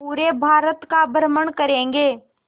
पूरे भारत का भ्रमण करेंगे